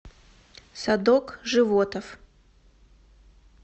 садок животов